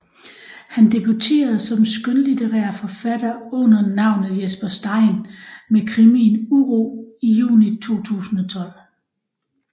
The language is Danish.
Han debuterede som skønlitterær forfatter under navnet Jesper Stein med krimien Uro i juni 2012